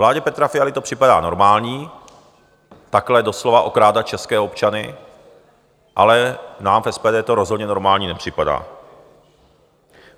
Vládě Petra Fialy to připadá normální, takhle doslova okrádat české občany, ale nám v SPD to rozhodně normální nepřipadá.